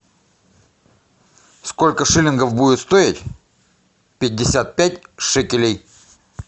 сколько шиллингов будет стоить пятьдесят пять шекелей